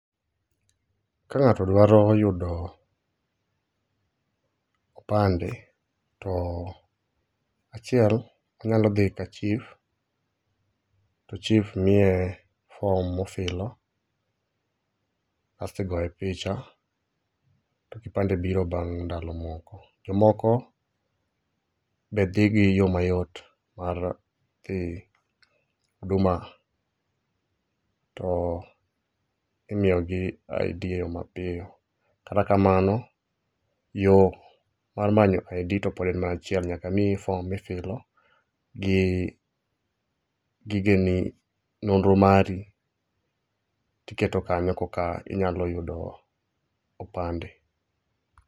Ka ng'ato dwaro yudo opande, to achiel, inyalo dhi kachif to chif miye fom mofilo kastigoye picha to kipande biro bang' ndalo moko. Jomoko be dhi gi yo mayot mar dhi huduma to imiyogi ID e yo mapiyo. Kata kamano, yo mar manyo ID to pod en mana achiel nyaka miyi fom mifilo gi nonro mari tiketo kanyo koka inyalo yudo opande.